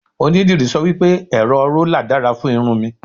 onidiri sọ wipe, ẹrọ rola dára fún irun mi